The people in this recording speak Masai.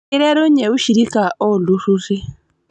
Keiterunye ushirika oo ltururi